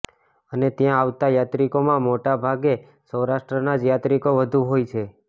અને ત્યાં આવતા યાત્રિકોમાં મોટા ભાગે સૌરાષ્ટ્રના જ યાત્રિકો વધુ હોય છે